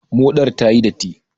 Moɗar ta yi datti.